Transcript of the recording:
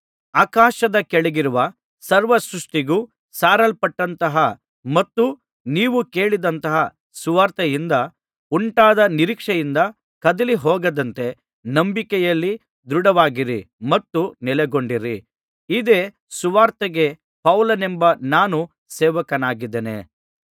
ಆಕಾಶದ ಕೆಳಗಿರುವ ಸರ್ವ ಸೃಷ್ಟಿಗೂ ಸಾರಲ್ಪಟ್ಟಂತಹ ಮತ್ತು ನೀವು ಕೇಳಿದಂತಹ ಸುವಾರ್ತೆಯಿಂದ ಉಂಟಾದ ನಿರೀಕ್ಷೆಯಿಂದ ಕದಲಿಹೋಗದಂತೆ ನಂಬಿಕೆಯಲ್ಲಿ ದೃಢವಾಗಿರಿ ಮತ್ತು ನೆಲೆಗೊಂಡಿರಿ ಇದೇ ಸುವಾರ್ತೆಗೆ ಪೌಲನೆಂಬ ನಾನು ಸೇವಕನಾಗಿದ್ದೇನೆ